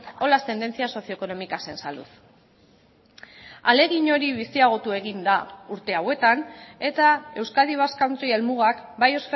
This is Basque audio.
o las tendencias socioeconómicas en salud ahalegin hori biziagotu egin da urte hauetan eta euskadi basque country helmugak bai